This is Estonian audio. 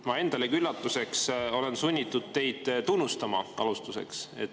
Ma endalegi üllatuseks olen sunnitud alustuseks teid tunnustama.